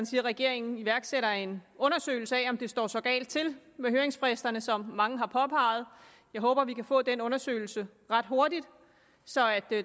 siger at regeringen iværksætter en undersøgelse af om det står så galt til med høringsfristerne som mange har påpeget jeg håber at vi kan få den undersøgelse ret hurtigt så